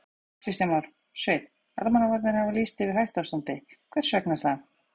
Kristján Már: Sveinn, almannavarnir hafa lýst yfir hættuástandi, hvers vegna er það?